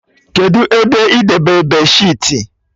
Kedụ ebe idebe beedịsheetị?